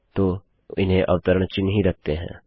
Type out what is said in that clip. तो इन्हें अवतरण चिह्न ही रखते है